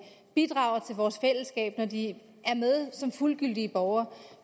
bidrager til vores fællesskab når de er med som fuldgyldige borgere